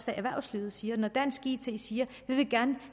hvad erhvervslivet siger når dansk it siger